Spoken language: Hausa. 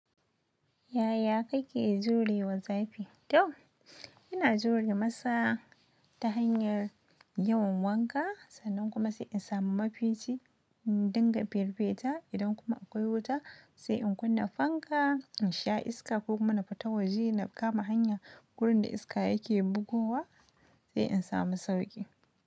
Yaya kake jure wa zafi? To ina jure masa ta hanyar yawan wanka sannan kuma sai in samu mafici in dinga firfita idan kuma akwai wuta sai in kunna fanka, in sha iska ko kuma na fita waje na kama hanya gurin da iska yake bugowa sai in samu sauƙi.